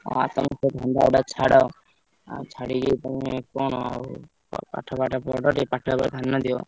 ହଁ ସେଇତ ଧନ୍ଦା ଗୁଡାକ ଛାଡ। ହଁ ଛାଡିକି କଣ ହବ ଆଉ ପାଠ ସାଠ ପଢ ଟିକେ ପାଠ ଉପରେ ଧ୍ୟାନ ଦିଅ।